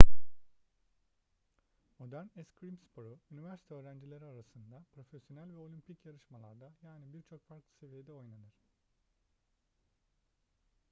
modern eskrim sporu üniversite öğrencileri arasında profesyonel ve olimpik yarışmalarda yani birçok farklı seviyede oynanır